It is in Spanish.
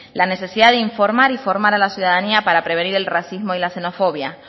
la necesidad de informar y formar a la ciudadanía para prevenir del racismo y la xenofobia